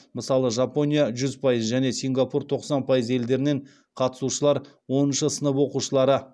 мысалы жапония және сингапур елдерінен қатысушылар оныншы сынып оқушылары